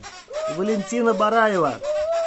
валентина бараева